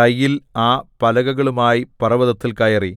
കയ്യിൽ ആ പലകകളുമായി പർവ്വതത്തിൽ കയറി